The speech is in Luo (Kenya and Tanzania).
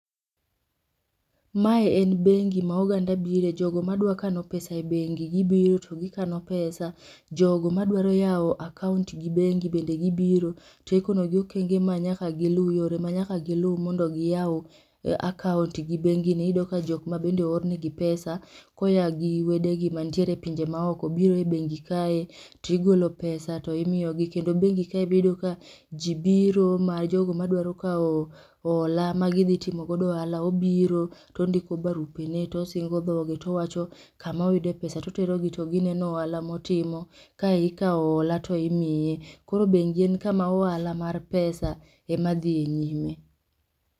Mae en bengi ma oganda bire, jogo madwa kano pesa e bengi gibiro to gikano pesa. Jogo madwaro yawo akaont gi bengi bende gibiro, tikonogi okenge ma nyaka gilu yore manyaka gilu mondo giyaw akaont gi bengi ni. Iyudo ka jokma bende oornegi pesa koya gi wedegi mantiere e pinje maoko biro e bengi kae tigolo pesa timiyogi. Kendo bengi kae biyudo ka ji biro ma jogo madwaro kawo hola ma gidhi timogodo ohala, obiro tondiko barupene tosingo dhoge towacho kama oyude pesa. Toterogi togineno ohala motimo, kae ikawo hola toimie. Koro bengi en kama ohala mar pesa ema dhiye nyime.